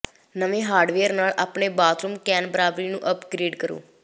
ਨਵੇਂ ਹਾਰਡਵੇਅਰ ਨਾਲ ਆਪਣੇ ਬਾਥਰੂਮ ਕੈਨਬਰਾਬਰੀ ਨੂੰ ਅਪਗ੍ਰੇਡ ਕਰੋ